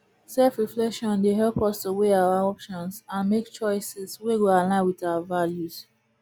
selfreflection dey help us to weigh our options and make choices wey go align with our values